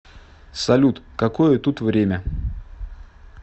салют какое тут время